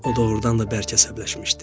O doğurdan da bərk əsəbləşmişdi.